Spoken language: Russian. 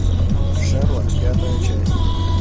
шерлок пятая часть